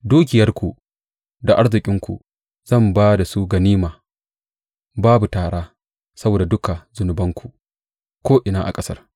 Dukiyarku da arzikinku zan ba da su ganima, babu tara, saboda duka zunubanku ko’ina a ƙasar.